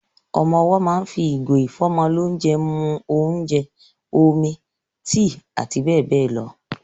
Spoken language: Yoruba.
Ọmọ owọ́ máa ń fi ìgò ìfọ́mọlónjẹ mu óúnjẹ, omi, tíì àti bẹ́ẹ̀ bẹ́ẹ̀ lọ.